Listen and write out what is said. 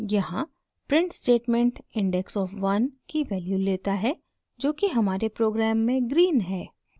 यहाँ print statement index of 1 की value लेता है जो कि हमारे प्रोग्राम में green है